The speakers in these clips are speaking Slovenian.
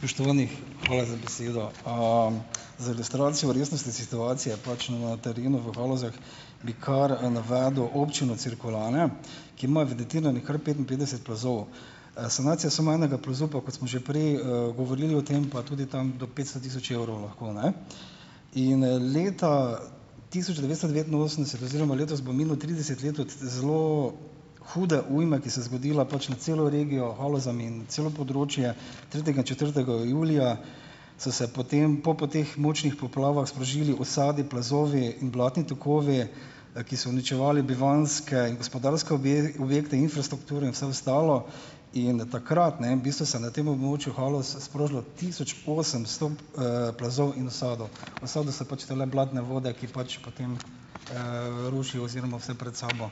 Spoštovani, hvala za besedo. Za ilustracijo resnosti situacije pač na na terenu v Halozah bi kar, navedel občino Cirkulane, ki ima kar petinpetdeset plazov. Sanacija samo enega plazu pa, kot smo že prej, govorili o tem, pa tudi tam do petsto tisoč evrov lahko, ne. In, leta tisoč devetsto devetinosemdeset oziroma letos bo minilo trideset let od zelo hude ujme, ki se je zgodila pač nad celo regijo, Halozami in celo področje tretjega in četrtega julija, so se potem po poteh močnih poplavah sprožili usadi, plazovi in blatni tokovi, ki so uničevali bivanjske in gospodarske objekte, infrastrukturo in vse ostalo. In do takrat, ne, bistvu se na tem območju Haloz sprožilo tisoč osemsto, plazov in usadov. Usadi so pač tele blatne vode, ki pač potem, rušijo oziroma vse pred sabo,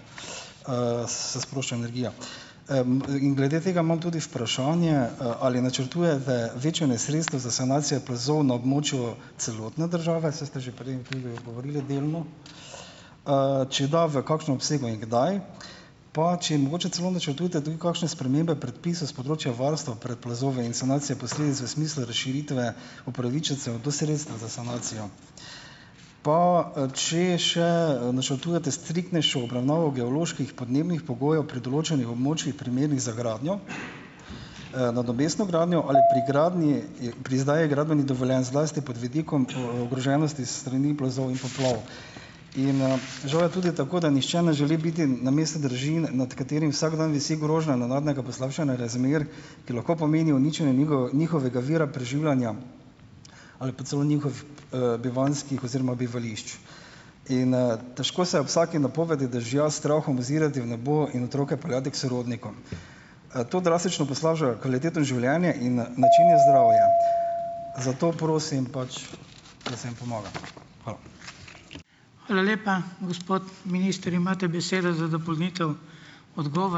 se sprošča energija. in glede tega imam tudi vprašanje, ali načrtujete večanje sredstev za sanacije plazov na območju celotne države. Saj ste že prej tudi odgovorili delno. Če da, v kakšnem obsegu in kdaj? Pa če mogoče celo načrtujete tudi kakšne spremembe predpisov s področja varstva pred plazovi in sanacije posledic v smislu razširitve upravičencev do sredstev za sanacijo? Pa, če še, načrtujete striktnejšo obravnavo geoloških podnebnih pogojev pri določanju območij, primernih za gradnjo, nadomestno gradnjo, ali pri gradnji pri izdaji gradbenih dovoljenj, zlasti pod vidikom ogroženosti s strani plazov in poplav? In, žal je tudi tako, da nihče ne želi biti na mestu družin, nad katerimi vsak dan visi grožnja nenadnega poslabšanja razmer, ki lahko pomenijo uničenje njihovega vira preživljanja ali pa celo bivanjskih oziroma bivališč. In, težko se je ob vsaki napovedi dežja s strahom ozirati v nebo in otroke peljati k sorodnikom. To drastično poslabša kvaliteto življenja in, načenja zdravje. Zato prosim pač, da se jim pomaga. Hvala.